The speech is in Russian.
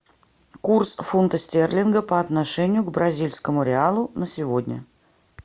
курс фунта стерлинга по отношению к бразильскому реалу на сегодня